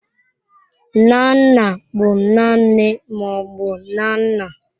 Nna nna bụ nna nne ma ọ bụ nna nna.